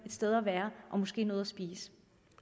sted at være og måske noget at spise